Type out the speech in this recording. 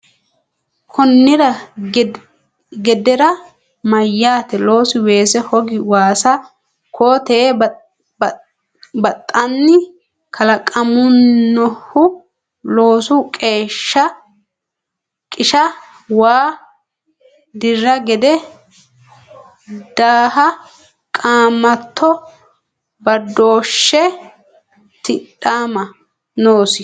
Konnira gedera meyate loosi weese hoga waasa koo tee baxxanni kalaqaminohu loosu qisha waa dirra gide daaha qaamatto badooshshi tidhama noosi.